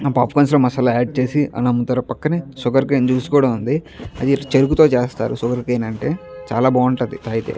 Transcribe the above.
ఆ పాప్కార్న్ లో మసాలా ఆడ్ చేసి అలా అమ్ముతారు పక్కనే షుగర్ కేన్ జ్యూస్ కూడా ఉంది అది చేరుకుతో చేస్తారు షుగర్ కేన్ అంటే చాలా బాగుంటుంది తాగితే --